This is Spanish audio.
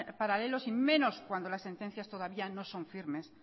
paralelos y menos cuando las sentencias todavía no son firmes